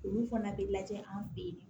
Olu fana bɛ lajɛ an fɛ yen